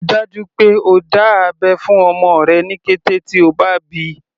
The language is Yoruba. Rí i dájú pé o dá abẹ́ fún ọmọ rẹ ní kété tí o bá bíi.